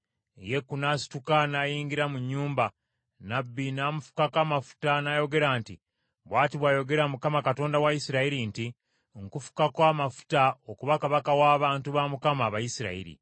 Yeeku n’asituka n’ayingira mu nnyumba, nnabbi n’amufukako amafuta, n’ayogera nti, “Bw’ati bw’ayogera Mukama Katonda wa Isirayiri nti, ‘Nkufukako amafuta okuba kabaka w’abantu ba Mukama , Abayisirayiri.